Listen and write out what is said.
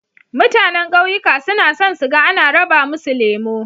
Mutanan ƙauyuka suna son su ga ana raba musu lemo.